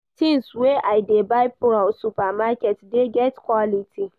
Tins wey I dey buy for supermarket dey get quality.